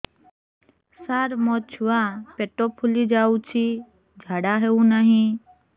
ସାର ମୋ ଛୁଆ ପେଟ ଫୁଲି ଯାଉଛି ଝାଡ଼ା ହେଉନାହିଁ